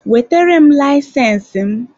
Wetere m layisensi m!